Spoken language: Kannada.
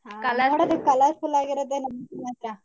colourful ಆಗಿರತ್ತೆ ಮಾತ್ರ.